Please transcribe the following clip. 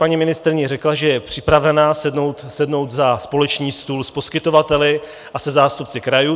Paní ministryně řekla, že je připravena sednout za společný stůl s poskytovateli a se zástupci krajů.